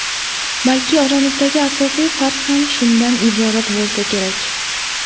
Balki oramizdagi asosiy farq ham shundan iborat bo‘lsa kerak.